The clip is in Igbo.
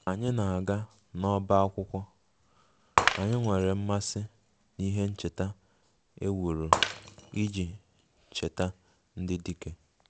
Ka anyị na-aga n'ọbá akwụkwọ, um anyị nwere mmasị n'ihe ncheta e wuru iji cheta ndị dike